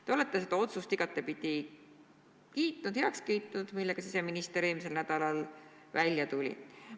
Te olete seda otsust, millega siseminister eelmisel nädalal välja tuli, igatepidi kiitnud.